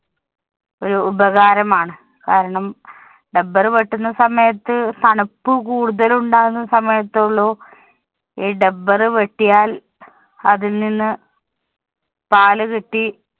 ഒരു ഉപകാരമാണ്. കാരണം, dubber വെട്ടുന്ന സമയത്ത് തണുപ്പ് കൂടുതലുണ്ടാകുന്ന സമയത്തേ ഉള്ളൂ ഈ dubber വെട്ടിയാല്‍ അതില്‍ നിന്ന് പാല് കിട്ടി